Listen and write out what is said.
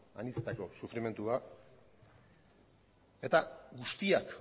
anitzetako sufrimendua eta guztiak